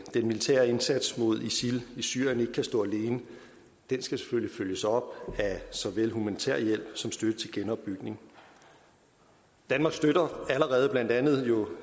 militære indsats mod isil i syrien ikke kan stå alene den skal selvfølgelig følges op af såvel humanitær hjælp som støtte til genopbygning danmark støtter allerede blandt andet